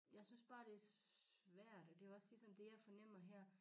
Jeg synes bare det svært og det og ligesom det jeg fornemmer her